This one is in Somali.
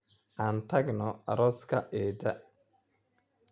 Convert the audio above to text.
Aan tagno aaska eedda